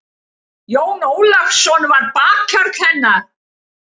Jón Ólafsson var bakhjarl hennar.